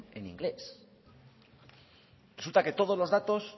en inglés resulta que todos los datos